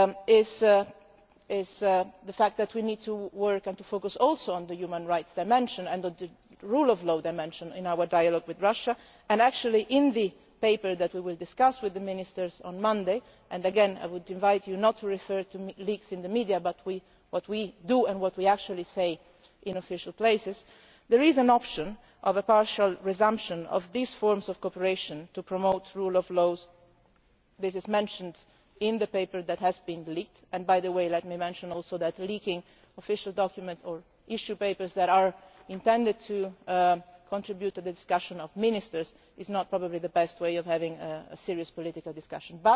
place it is a fact that we also need to work and focus on the human rights dimension and on the rule of law dimension in our dialogue with Russia. In fact, in the paper that we will discuss with the ministers on Monday and again I would invite you not to refer to leaks in the media but to what we do and what we actually say in official places there is an option of a partial resumption of these forms of cooperation to promote the rule of law. This is mentioned in the paper that has been leaked and let me mention also that leaking official documents or issuing papers that are intended to contribute to a discussion of ministers is possibly not the best way of having a serious political discussion.